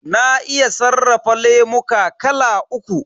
Na iya sarrafa lemuka kala uku.